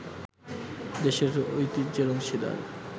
দেশের ঐতিহ্যের অংশীদার